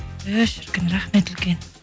і шіркін рахмет үлкен